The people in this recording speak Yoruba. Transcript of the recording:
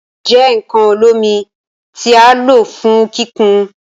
Ọda jẹ nkan olomi ti a lo fun kikun